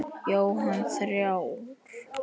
Jóhann: Þrjár?